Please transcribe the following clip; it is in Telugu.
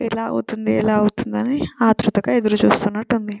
ఎలా అవుతుంది ఎలా అవుతుంది అని ఆతృతగా ఎదురుచూస్తునట్టు ఉంది .